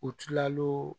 U tilal'o